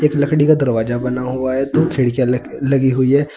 लकड़ी का दरवाजा बना हुआ है दो खिड़कियां लगी हुई हैं।